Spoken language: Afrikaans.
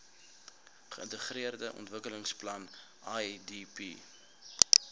geintegreerde ontwikkelingsplan idp